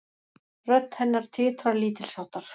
Rödd hennar titrar lítilsháttar.